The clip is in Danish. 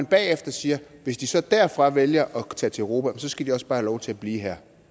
bagefter siger at hvis de så derfra vælger at tage til europa så skal de også bare have lov til at blive her